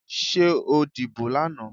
Ṣé o dìbò lánàá.